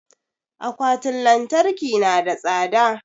Akwatin lantarki na da tsada